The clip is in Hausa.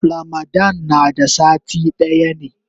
Ramadan na da sati daya ne.